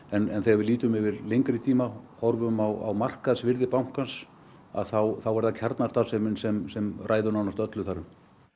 en þegar við lítum yfir lengri tíma horfum á markaðsvirði bankans þá er það kjarnastarfsemin sem sem ræður nánast öllu þar um